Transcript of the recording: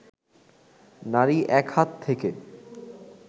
নারী এক হাত থেকে